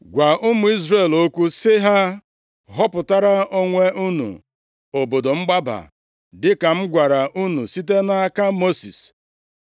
“Gwa ụmụ Izrel okwu sị ha họpụtara onwe unu obodo mgbaba dịka m gwara unu site nʼaka Mosis.